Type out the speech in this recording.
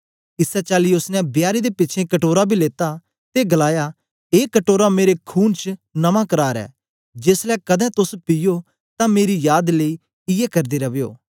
इसै चाली ओसने बियारी दे पिछें कटोरा बी लेता ते गलाया ए कटोरा मेरे खून च नमां करार ऐ जेसलै कदें तोस पीओ तां मेरी याद लेई इयै करदे रवयो